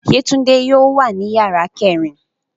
Yetunde yóò wa ni yara kẹrin